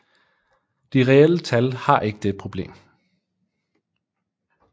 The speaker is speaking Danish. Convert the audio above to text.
De reelle tal har ikke dette problem